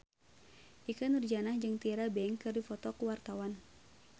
Ikke Nurjanah jeung Tyra Banks keur dipoto ku wartawan